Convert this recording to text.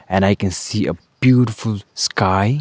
And I can see a beautiful sky.